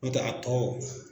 Nɔ tɛ a tɔ.